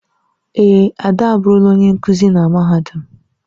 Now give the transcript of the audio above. Èè, Ade aburula onye nkuzi na mahadum.